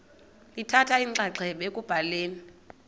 lithatha inxaxheba ekubhaleni